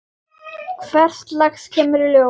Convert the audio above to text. Hvers lags kemur í ljós.